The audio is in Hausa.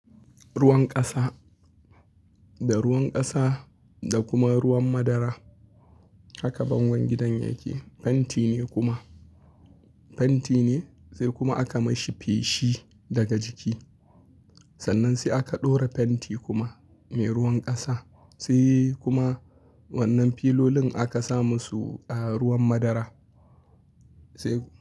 Ruwan ƙasa da ruwan ƙasa da kuma ruwan madara haka bangon gidan yake. Fenti ne kuma, fenti ne sai kuma aka mashi feshi daga jiki. Sannan sai aka ɗora fenti kuma mai ruwan ƙasa sai kuma wannan filolin aka sa musu ruwan madara sai.